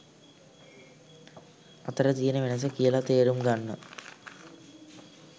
අතර තියෙන වෙනස කියල තේරුම් ගන්න